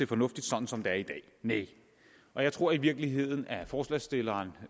fornuftigt sådan som det er i dag nej og jeg tror i virkeligheden at forslagsstilleren